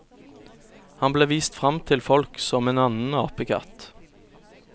Han ble vist fram til folk som en annen apekatt.